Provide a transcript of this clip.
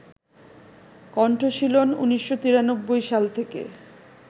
কণ্ঠশীলন ১৯৯৩ সাল থেকে